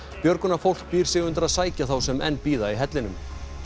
björgunarfólk býr sig undir að sækja þá sem enn bíða í hellinum